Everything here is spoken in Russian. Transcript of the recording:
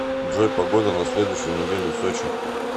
джой погода на следующую неделю в сочи